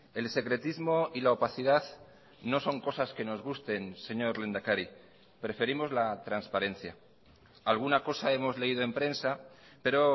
el secretismo y la opacidad no son cosas que nos gusten señor lehendakari preferimos la transparencia alguna cosa hemos leído en prensa pero